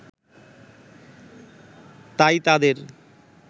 তাই তাদের